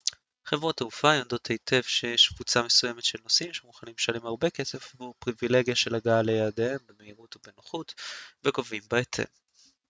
חברות תעופה יודעות היטב שיש קבוצה מסוימת של נוסעים שמוכנים לשלם הרבה כסף עבור הפריבילגיה של הגעה ליעדיהם במהירות ובנוחות וגובים בהתאם